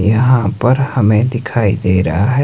यहां पर हमें दिखाई दे रहा है--